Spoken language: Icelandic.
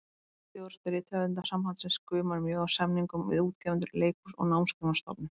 Stjórn Rithöfundasambandsins gumar mjög af samningum við útgefendur, leikhús og Námsgagnastofnun.